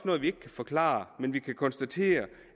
noget vi ikke kan forklare men vi kan konstatere